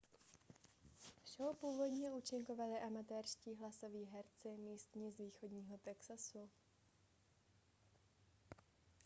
v show původně účinkovali amatérští hlasoví herci místní z východního texasu